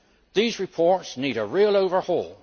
These reports need a real overhaul.